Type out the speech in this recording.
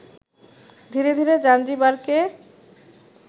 ধীরে ধীরে জাঞ্জিবারকে